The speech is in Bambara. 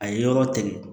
A ye yɔrɔ tɛmɛ